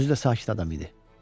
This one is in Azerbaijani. Özü də sakit adam idi.